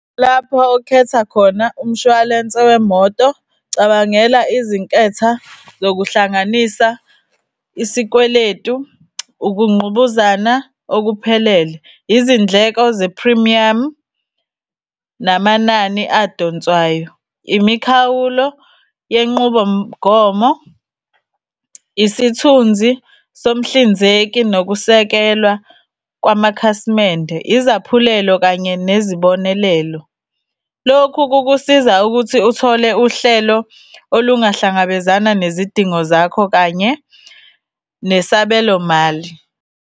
Lapho okhetha khona umshwalense wemoto, cabangela izinketha zokuhlanganisa isikweletu, ukungqubuzana okuphelele, izindleko ze-premium, namanani adonswayo. Imikhawulo yenqubomgomo, isithunzi somhlinzeki nokusekelwa kwamakhasimende, izaphulelo kanye nezibonelelo. Lokhu kukusiza ukuthi uthole uhlelo olungahlangabezana nezidingo zakho kanye nesabelo mali.